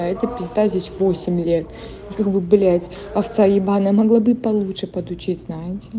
а эта пизда здесь восемь лет и как бы блять овца ебанная могла бы и получше подучить знаете